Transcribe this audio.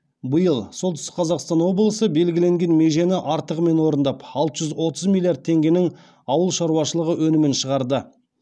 биыл солтүстік қазақстан облысы белгіленген межені артығымен орындап алты жүз отыз миллиард теңгенің ауыл шаруашылығы өнімін шығарды